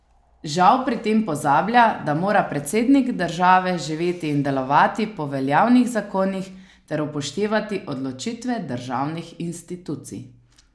Žal pri tem pozablja, da mora predsednik države živeti in delovati po veljavnih zakonih ter upoštevati odločitve državnih institucij.